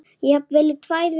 Jafnvel í tvær vikur.